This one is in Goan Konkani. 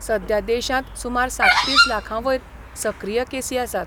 सद्या देशांत सुमार सात्तीस लाखां वयर सक्रीय केसी आसात.